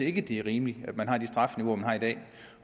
ikke det er rimeligt at man har de strafniveauer man har i dag